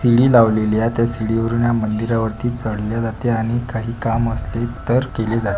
CD लावलेली आहे त्या सीडी वरुण या मंदीरा वरती चढले जाते आणि काही काम असले तर केले जाते.